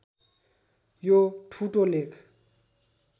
यो ठुटो लेख